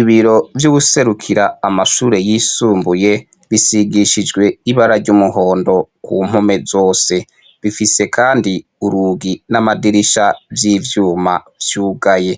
Ibiro vy'uwuserukira amashure y'isumbuye bisigishijwe ibara ry'umuhondo ku mpome zose, bifise kandi urugi n'amadirisha vy'ivyuma vyugaye,